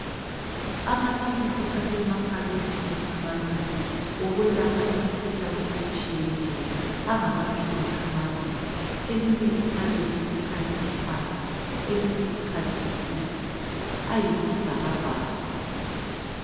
Amaphilisi asemaphakethini amabili okwelapha imikhuhlane etshiyeneyo. Angamatshumi amabili. Elinye iphakethe likhangele phansi elinye likhangele phezulu. Ayisibhakabhaka.